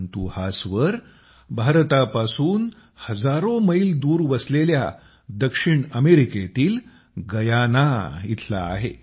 परंतु हा स्वर भारतापासून दूर हजारो मैल वसलेल्या दक्षिण अमेरिकेतील गयाना इथला आहे